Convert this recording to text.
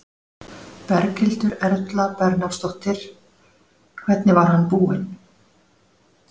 Berghildur Erla Bernharðsdóttir: Hvernig var hann búinn?